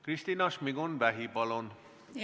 Kristina Šmigun-Vähi, palun!